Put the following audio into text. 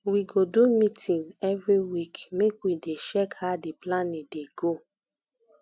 we go do meeting every week make we dey check how di planning dey go